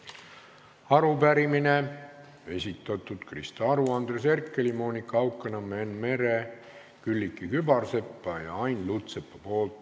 Järgmise arupärimise on esitanud Krista Aru, Andres Herkel, Monika Haukanõmm, Enn Meri, Külliki Kübarsepp ja Ain Lutsepp.